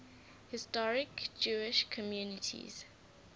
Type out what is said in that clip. historic jewish communities